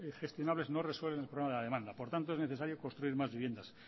gestionables no resuelven el problema de la demanda por tanto es necesario construir más viviendas